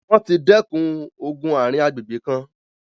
wọ́n ti dẹkùn ogun ààrin agbègbè kan.